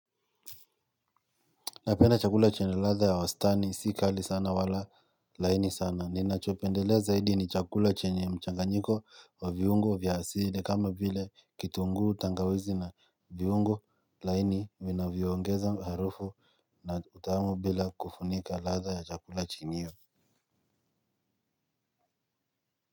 Napenda chakula chenye ladha ya wastani si kali sana wala laini sana ninachopendelea zaidi ni chakula chenye mchanganyiko wa viungo vya asili kama vile kitunguu tangawizi na viungo laini vinavyoongeza harufu na utamu bila kufunika ladha ya chakula chenyewe.